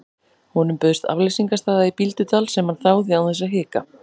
Honum bauðst afleysingarstaða á Bíldudal sem hann þáði án þess að hika.